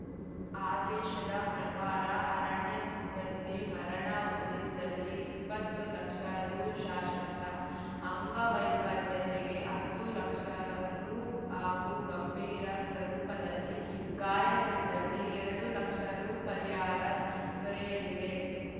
ಆದೇಶದ ಪ್ರಕಾರ ಅರಣ್ಯ ಸಿಬ್ಬಂದಿ ಮರಣ ಹೊಂದಿದಲ್ಲಿ ಇಪ್ಪತ್ತು ಲಕ್ಷ ರು ಶಾಶ್ವತ ಅಂಗವೈಕಲ್ಯತೆಗೆ ಹತ್ತು ಲಕ್ಷ ರು ಹಾಗೂ ಗಂಭೀರ ಸ್ವರೂಪದಲ್ಲಿ ಗಾಯಗೊಂಡಲ್ಲಿ ಎರಡು ಲಕ್ಷ ರು ಪರಿಹಾರ ದೊರೆಯಲಿದೆ